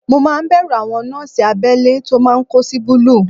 Mo máa ń bẹ̀rù àwọn nọ́ọ̀sì abẹ́lé tó máa ń kó sí búlúù